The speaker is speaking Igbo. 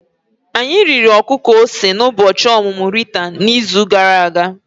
Anyị riri ọkụkọ ose n'ụbọchị ọmụmụ Rita n'izu gara aga.